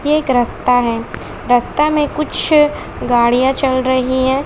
एक रस्ता है रस्ता में कुछ गाड़ियां चल रही हैं।